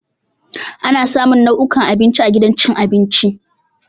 Ana samun nau'ukan abinci a gidan cin abinci.